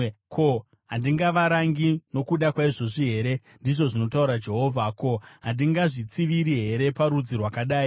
Ko, handingavarangi nokuda kwaizvozvi here?” ndizvo zvinotaura Jehovha. “Ko, handingazvitsiviri here parudzi rwakadai?